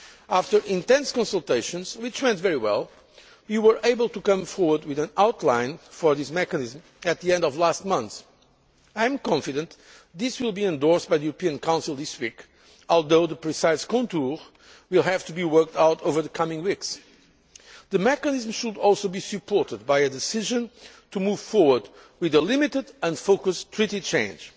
After intense consultations, which went very well, we were able to come forward with an outline for this mechanism at the end of last month. I am confident this will be endorsed by the European Council this week, although the precise contours will have to be worked out over the coming weeks. The mechanism should also be supported by a decision to move forward with a limited and focused treaty change.